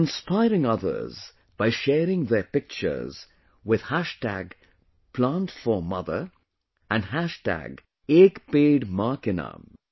They are inspiring others by sharing their pictures with #Plant4Mother and #Ek Ped Maa Ke Naam